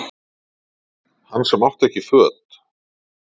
Hann sem átti ekki föt